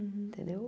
Entendeu?